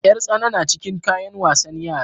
Yar tsana na cikin kayan wasan yara.